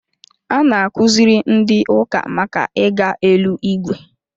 A na-akuziri ndị ụka màkà ịga eluigwe